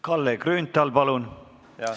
Kalle Grünthal, palun!